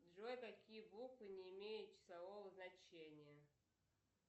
джой какие буквы не имеют числового значения